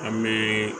An bɛ